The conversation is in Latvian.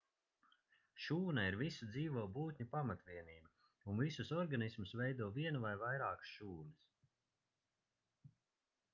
šūna ir visu dzīvo būtņu pamatvienība un visus organismus veido viena vai vairākas šūnas